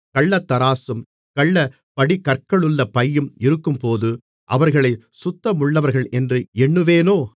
கள்ளத்தராசும் கள்ளப் படிக்கற்களுள்ள பையும் இருக்கும்போது அவர்களைச் சுத்தமுள்ளவர்களென்று எண்ணுவேனோ